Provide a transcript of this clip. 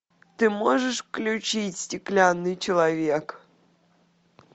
ты можешь включить стеклянный человек